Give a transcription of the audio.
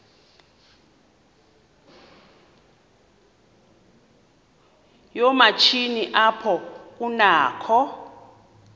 yoomatshini apho kunakho